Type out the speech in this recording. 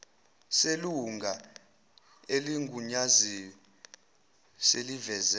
selunga eligunyaziwe seliveze